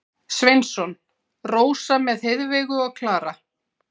Sveinsson, Rósa með Heiðveigu og Klara.